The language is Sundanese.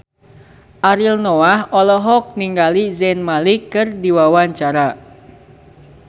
Ariel Noah olohok ningali Zayn Malik keur diwawancara